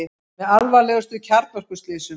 Með alvarlegustu kjarnorkuslysum